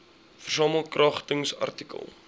versamel kragtens artikel